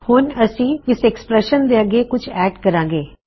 ਹੁਣ ਅਸੀਂ ਇਸ ਐਕ੍ਸਪ੍ਰੈਸ਼ਨ ਦੇ ਅੱਗੇ ਕੁਛ ਐੱਡ ਕਰਾਂ ਗੇ